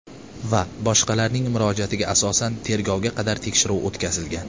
va boshqalarning murojaatiga asosan tergovga qadar tekshiruv o‘tkazilgan.